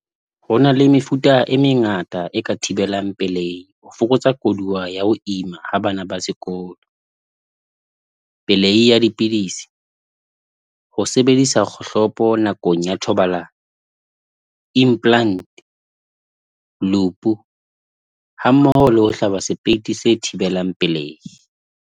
Hona le mefuta e mengata e ka thibelang pelehi ho fokotsa koduwa ya ho ima ha bana ba sekolo. Pelehi ya dipidisi, ho sebedisa kgohlopo nakong ya thobalano, implant, loop-u hammoho le ho hlaba sepeiti se thibelang pelehi.